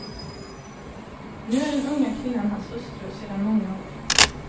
Nu är den unga kvinnan hans hustru sedan många år.